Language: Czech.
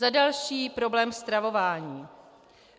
Za další - problém stravování.